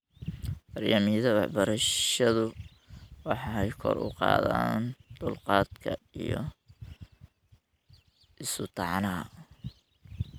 Barnaamijyada waxbarashadu waxay kor u qaadaan dulqaadka iyo isu-tanaaxa .